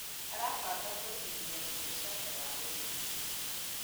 Arabanga kũigĩthia biacara ya ũrĩmi